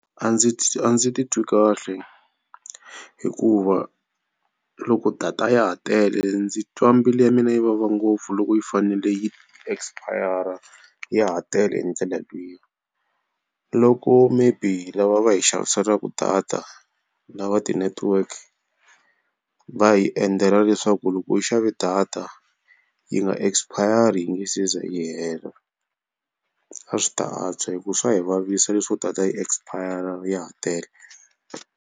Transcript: A ndzi a ndzi titwi kahle hikuva loko data ya ha tele ndzi twa mbilu ya mina yi vava ngopfu loko yi fanele yi expire ya ha tele hi ndlela liya. Loko maybe lava va hi xaviselaka data lava tinetiweke va hi endlela leswaku loko u xave data yi nga expire yi nga se za yi hela. A swi ta antswa hi ku swa hi vavisa leswo data yi expire ya ha tele.